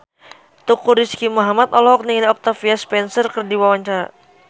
Teuku Rizky Muhammad olohok ningali Octavia Spencer keur diwawancara